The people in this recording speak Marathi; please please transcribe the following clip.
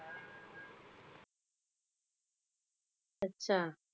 अच्छा.